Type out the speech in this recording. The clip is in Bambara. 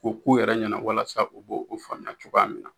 K'o k'u yɛrɛ ɲɛnɛ walasa u b'o o faamuya cogoya cogoya min